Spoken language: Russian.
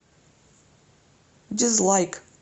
дизлайк